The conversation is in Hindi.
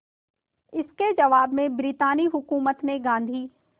इसके जवाब में ब्रितानी हुकूमत ने गांधी